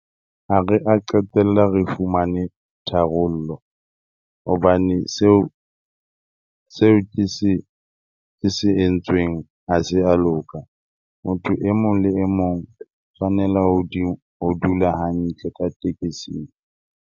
Ha re a qetella re fumane tharollo hobane seo seo ke se ke se entsweng ha se a loka. Motho e mong le e mong tshwanela ho dula hantle ka tekesing.